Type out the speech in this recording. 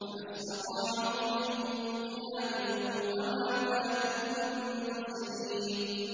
فَمَا اسْتَطَاعُوا مِن قِيَامٍ وَمَا كَانُوا مُنتَصِرِينَ